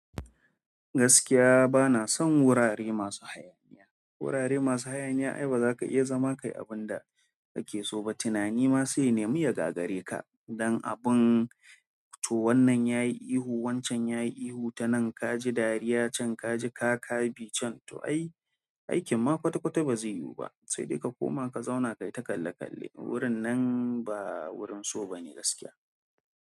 Gaskiya bana son wurare masu hayaniya. Wurare masu hayaniya ai baza ka iya zama kayi abun da kake so ba. Tunani ma sai nemu ya gagare ka, don abin to wannan yayi ihu, wancan yayi ihu ta nan kaji dariya, can kaji kaka bi can. To ai, aikin ma kwata kwata bazai yiwu ba. Sai dai ka koma ka zauna kai ta kalle kalle. Wurin nan ba wurin so bane gaskiya.